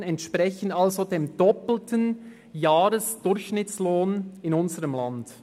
120 000 Franken entsprechen also dem doppelten Jahresdurchschnittslohn in unserem Land.